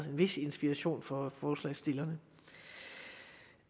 en vis inspiration for forslagsstillerne